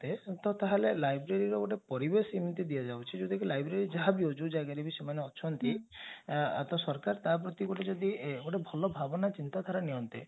ତ ତାହେଲେ library ର ଗୋଟେ ପରିବେଶ ଏମିତି ଦିଆଯାଉଛି ଯଉଟକି library ଯାହାବି ହଉ ଯାଉ ଜାଗାରେ ବି ସେମାନେ ଅଛନ୍ତି ସରକାର ତା ପ୍ରତି ଯସ୍ୟ ଭଲ ଭାବନା ଚିନ୍ତାଧାରା ନେଅନ୍ତେ